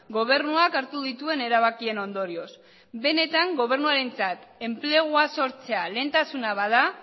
gobernuak hartu dituen erabakien ondorioz benetan gobernuarentzak enplegua sortzea lehentasuna bada